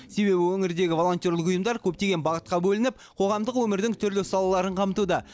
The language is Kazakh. себебі өңірдегі волонтерлік ұйымдар көптеген бағытқа бөлініп қоғамдық өмірдің түрлі салаларын қамтуда